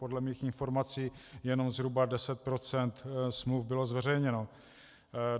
Podle mých informací jen zhruba 10 % smluv bylo zveřejněno.